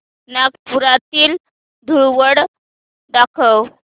नागपुरातील धूलवड दाखव